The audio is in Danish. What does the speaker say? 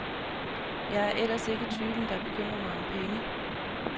Jeg er ellers ikke typen, der bekymrer mig om penge.